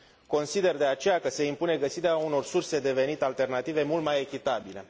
Consider, de aceea, că se impune găsirea unor surse de venit alternative mult mai echitabile.